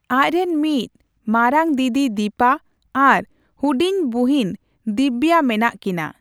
ᱟᱡ ᱨᱮᱱ ᱢᱤᱫ ᱢᱟᱨᱟᱝ ᱫᱤᱫᱤ ᱫᱤᱯᱟ ᱟᱨ ᱦᱩᱰᱤᱧ ᱵᱩᱦᱤᱱ ᱫᱤᱵᱽᱵᱟ ᱢᱮᱱᱟᱜ ᱠᱤᱱᱟ ᱾